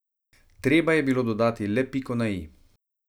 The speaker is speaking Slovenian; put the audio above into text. Treba je bilo dodati le piko na i.